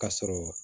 Ka sɔrɔ